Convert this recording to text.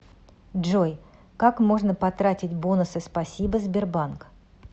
джой как можно потратить бонусы спасибо сбербанк